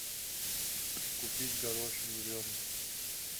купить горошек зеленый